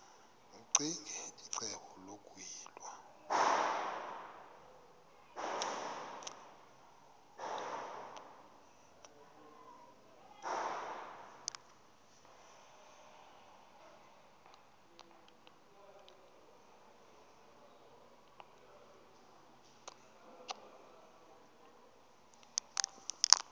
ccinge icebo lokuyilwa